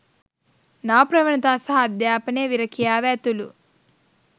නව ප්‍රවණතා සහ අධ්‍යාපනය විරැකියාව ඇතුළු